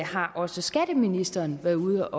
har også skatteministeren været ude